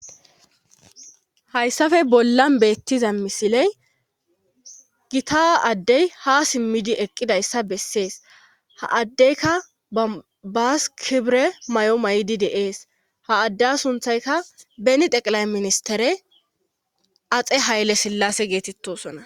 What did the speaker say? hayssafe bollan beettiza misiley gita addey ha simmidi eqqidayssa bessees ha addeyka babas kibre may7o may7idi deees ha adde sunthayka beni teqilay ministere axe haylle sillase geetettosona